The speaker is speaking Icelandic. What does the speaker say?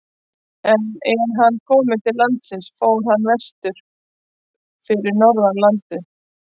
En er hann kom til landsins fór hann vestur fyrir norðan landið.